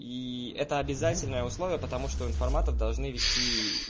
и это обязательное условия потому что информатор должны вести